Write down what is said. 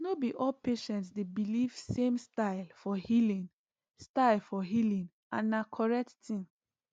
no be all patients dey believe same style for healing style for healing and na correct thing